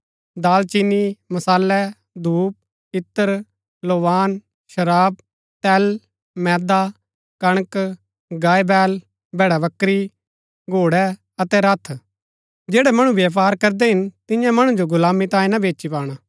दालचीनी मसालै धूप इत्र लोबान शराब तेल मैदा कणक गायबैल भैड़ाबकरी घोड़ै अतै रथ जैड़ै मणु व्यपार करदै हिन तिन्या मणु जो गुलामी तांये ना बेची पाणा